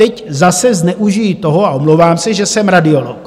Teď zase zneužiji toho - a omlouvám se - že jsem radiolog.